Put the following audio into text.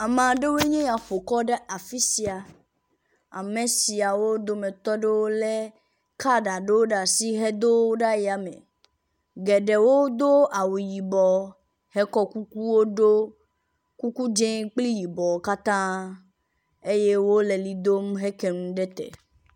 Ame aɖewoe nye yea ƒo kɔ ɖe afi sia. Ame siawo dometɔ ɖewo lé kaɖi aɖewo ɖe asi hedo wo ɖe yame. Geɖewo do awu yibɔ hekɔ kukuwo ɖo, kuku dzĩ kple yibɔ katã eye wole li dom heke nu ɖe te.